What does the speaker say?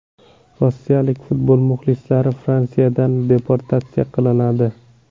Rossiyalik futbol muxlislari Fransiyadan deportatsiya qilinadi.